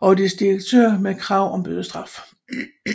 og dets direktør med krav om bødestraf